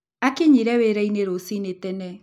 Aakinyire wĩra-inĩ rũcinĩ tene.